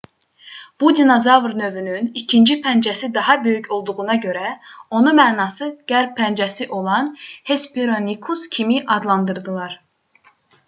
bu dinozavr növünün ikinci pəncəsi daha böyük olduğuna görə onu mənası qərb pəncəsi olan hesperonychus kimi adlandırdılar